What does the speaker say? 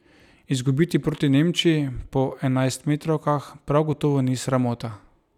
Izgubiti proti Nemčiji po enajstmetrovkah prav gotovo ni sramota.